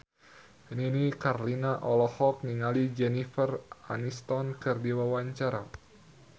Nini Carlina olohok ningali Jennifer Aniston keur diwawancara